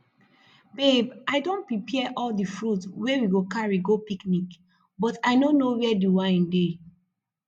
babe i don prepare all the fruits we go carry go picnic but i no know where the wine dey